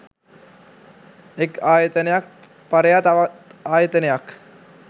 එක් ආයතනයක් පරයා තවත් ආයතනයක්